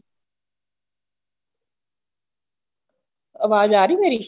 ਅਵਾਜ਼ ਆ ਰਹੀ ਮੇਰੀ